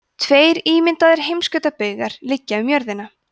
tveir ímyndaðir heimskautsbaugar liggja um jörðina